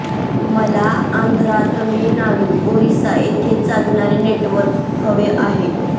मला आंध्रा तामिळनाडू ओरिसा येथे चालणारे नेट्वर्क हवे आहे